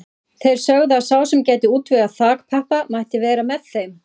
Þeir sögðu að sá sem gæti útvegað þakpappa mætti vera með þeim.